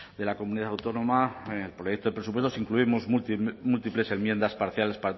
de la comunidad autónoma el proyecto de presupuestos incluimos múltiples enmiendas parciales